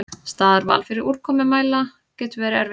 Staðarval fyrir úrkomumæla getur verið erfitt.